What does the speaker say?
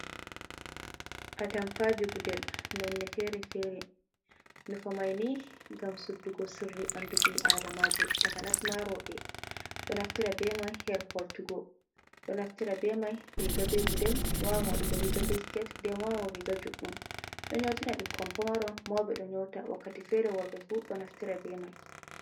Atampaji gudel, nonne fere-fere. Nufo mai ni ngam suddugo sirri ɓandu ɓi adamajo. Takanas ma rowɓe ɗo naftira be mai her holtugo. Ɗo naftira be mai riga be gudel, wawan waɗugo riga be sket, nden wawan waɗugo riga juɗɗum. Ɗon nyootina bikkoi pamaron, mauɓe ɗo nyoota wakati fere worɓe fu ɗo naftira be mai.